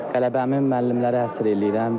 Qələbəmi müəllimlərə həsr eləyirəm.